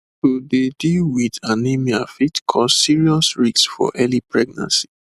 to dey deal wit anemia fit cause serious risks for early pregnancy